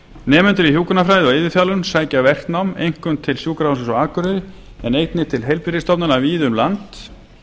nemendur í hjúkrunarfræði og iðjuþjálfun sækja verknám einkum til sjúkrahússins á akureyri en einnig til heilbrigðisstofnana víða um land